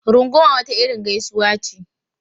Runguma wata irin gaisuwa ce.